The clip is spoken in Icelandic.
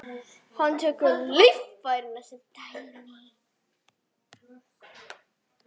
Hann tekur lifrina sem dæmi.